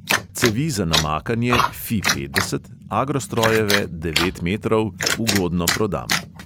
Cevi za namakanje, fi petdeset, agrostrojeve, devet metrov, ugodno prodam.